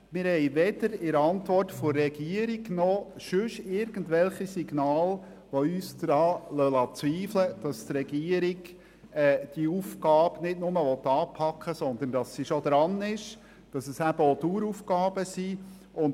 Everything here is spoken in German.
Wir haben weder in der Antwort der Regierung noch irgendwo sonst Signale gefunden, die uns daran zweifeln liessen, dass die Regierung die Aufgabe nicht nur anpacken will, sondern dass sie schon dabei ist; dass es eben auch Daueraufgaben sind.